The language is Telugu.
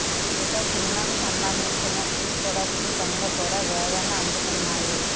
ఇక సినిమాకు సంబందించిన ప్రీ ప్రొడక్షన్ పనులు కూడా వేగాన్ని అందుకున్నాయి